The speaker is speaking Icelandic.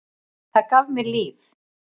Það gaf mér líf.